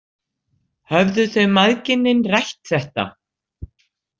Höfðu þau mæðginin rætt þetta?